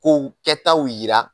Kow kɛ taaw yira.